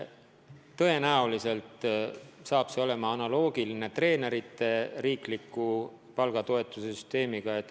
Tõenäoliselt saab see olema analoogiline treenerite riikliku palgatoetuse süsteemiga.